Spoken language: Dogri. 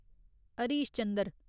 हरीश चंद्र